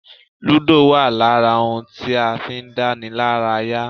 Ludo wa lára ohun tí a fi ń dánilaraya.